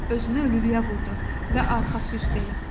Özünü ölülüyə vurdu və arxası üstə yatdı.